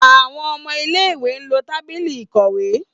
Àwọn ọmọ ilé-ìwé lo tábìlì ìkọ̀wé